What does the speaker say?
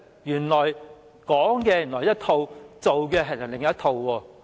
原來是"說一套，做另一套"。